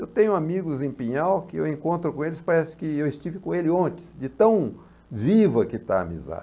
Eu tenho amigos em Pinhal que eu encontro com eles, parece que eu estive com ele ontem, de tão viva que está a